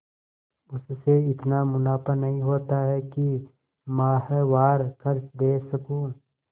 उससे इतना मुनाफा नहीं होता है कि माहवार खर्च दे सकूँ